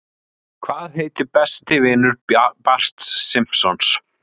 Hvað heitir besti vinur Barts Simpsons?